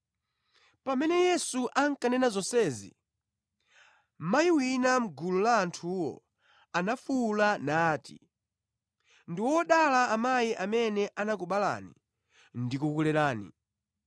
Pamene Yesu ankanena zonsezi, mayi wina mʼgulu la anthuwo anafuwula nati, “Ndi wodala amayi amene anakubalani ndi kukulerani!”